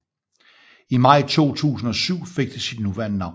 I maj 2007 fik det sit nuværende navn